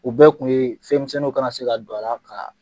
U bɛɛ kun ye fɛnmisɛnniw kana se ka don a la ka.